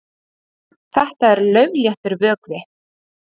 Þetta er laufléttur vökvi.